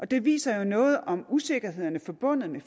det viser jo noget om usikkerhederne forbundet med